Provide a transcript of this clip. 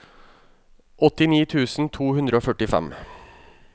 åttini tusen to hundre og førtifem